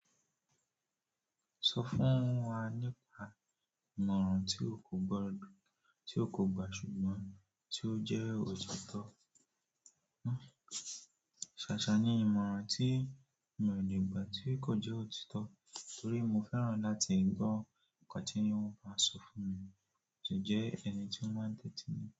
Sọ fún wa nípa ìmọ̀ràn tí o kò gbà ṣùgbọ́n tí ó jẹ́ òtítọ́. Ṣàṣà ni ìmọ̀ràn tí mi ò lè gbà tí kò jẹ́ òtítọ́ torí mo fẹ́ràn láti gbọ́ nǹkan tí wọn máa ń sọ fún mi mo si jẹ́ ẹni tí ó máa ń tẹ́tí mi.